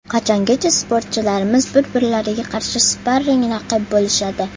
Qachongacha sportchilarimiz bir-birlariga qarshi sparring raqib bo‘lishadi?